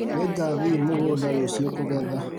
Nĩngathiĩ mũgũnda rũciũ kũgetha